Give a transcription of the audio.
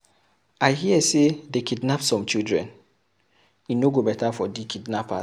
I hear say dey kidnap some children. E no go better for the kidnappers.